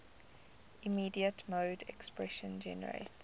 immediate mode expression generates